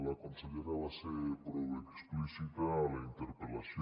la consellera va ser prou explícita a la interpel·lació